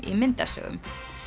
í myndasögum